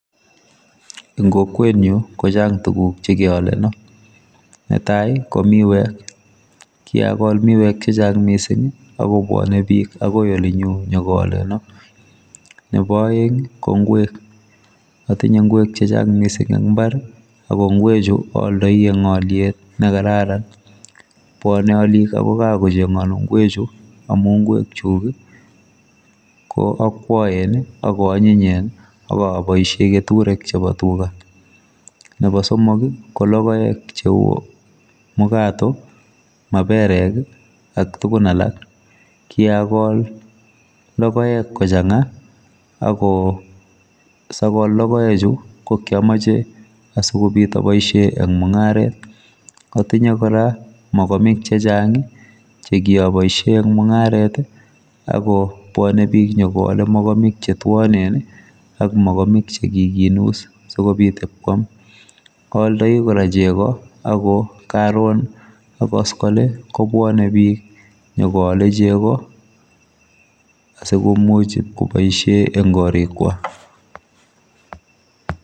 Eng kokwetnyu kochang tuguk chekeoleno netai komiwek kiakol miwek chechang mising akobwone bik akoi olinyu nyikooleno nebo aeng ko ngwek atinye ngwek chechang ing mbar akongwechu aldoi eng oliet nekararan bwane olik akoi gaa kocheganu ngwechu amu ngwekchuk koakwoen akoanyinyen akaboisie keturek chebo tuga chebo somok kolokoek cheu mukato, maperek ak tugun alak kiagol lokoek kochanga ako sagol lokoechu kokiamoche asikobit aboisie eng mungaret atinye kora mokomik chehang chekia boisie eng mungaret akobwone bik nyekoole mokomik chetuanen ak mokomik chekikinus sikobit ipkwam aoldoi kora chego ak karon ak koskoliny kobwane bik nyikoole chego asikomuch ibkoboisie eng korik kwak.